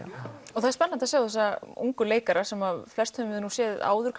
og það er spennandi að sjá þessa ungu leikara sem við flest séð áður